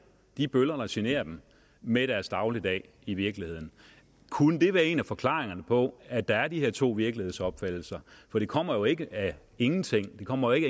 de bøller der generer dem med deres dagligdag i virkeligheden kunne det være en af forklaringerne på at der er de her to virkelighedsopfattelser for det kommer jo ikke af ingenting det kommer jo